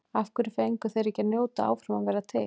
Af hverju fengu þeir ekki að njóta áfram að vera til?